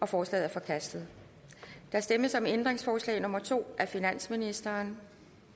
forslaget er forkastet der stemmes om ændringsforslag nummer to af finansministeren